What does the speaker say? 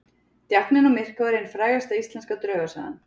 Djákninn á Myrká er ein frægasta íslenska draugasagan.